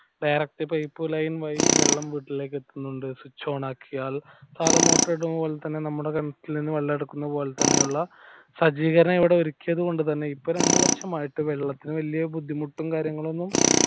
direct pipe line വഴി ഞങ്ങളുടെ വീട്ടിൽ എത്തുന്നുണ്ട് switch on ആക്കിയാൽ സാധാ motor ഇടുന്ന പോലെ തന്നെ ഞങ്ങളുടെ വീട്ടിൽ നിന്ന് വെള്ളം എടുക്കുന്നത് പോലെ ഉള്ള സജ്ജീകരണം ഇവിടെ ഒരുക്കിയത് കൊണ്ട് തന്നെ ഇപ്പൊ രണ്ടു വര്ഷം ആയിട്ട് വെള്ളത്തിന് വലിയ ബുദ്ധിമുട്ടും കാര്യങ്ങളൊന്നും